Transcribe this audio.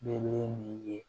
Ne ne nin ye